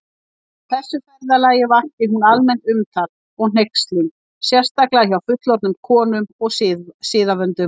Á þessu ferðalagi vakti hún almennt umtal og hneykslun, sérstaklega hjá fullorðnum konum og siðavöndum.